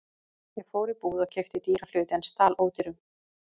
Ég fór í búð og keypti dýra hluti en stal ódýrum.